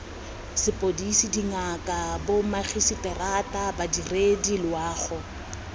sepodisi dingaka bomagiseterata badiredi loago